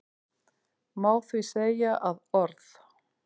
Má því segja að orð